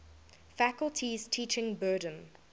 faculty's teaching burden